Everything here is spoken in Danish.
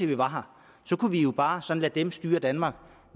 vi har her så kunne vi jo bare lade dem styre danmark